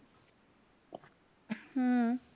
हम्म